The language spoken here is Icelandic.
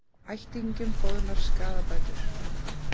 Ættingjum boðnar skaðabætur